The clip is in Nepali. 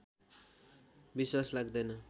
विश्वास लाग्दैन